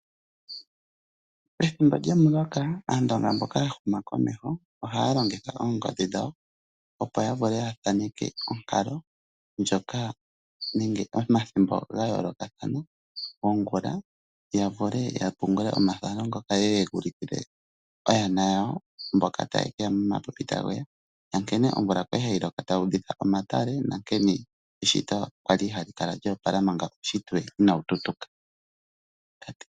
Ethimbo lyomuloka, aandonga mboka ya huma komeho oha ya longitha oongodhi dhawo, opo ya vule ya thaneke onkalo ndjoka nenge omathimbo gayoolokathana ongula, ya vule ya pungule omathano ngoka ye ye yeguulukile oyana yawo mboka ta ye ke ya momapipi taguuya, na nkene omvula kwali hayiloko tayi udhitha omatale, na nkene eshito kwali hali kala lya opala manga uushitwe inaa wu tutuka.